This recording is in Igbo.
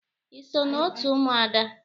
Ị so na otu Ụmụada?